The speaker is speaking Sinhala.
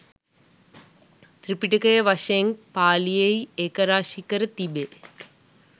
ත්‍රිපිටකය වශයෙන් පාලියෙහි ඒකරාශී කර තිබේ.